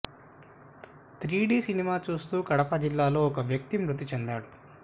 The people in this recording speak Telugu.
త్రీడీ సినిమా చూస్తూ కడప జిల్లాలో ఒక వ్యక్తి మృతి చెందాడు